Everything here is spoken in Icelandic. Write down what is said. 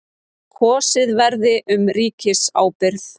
Kosið verði um ríkisábyrgð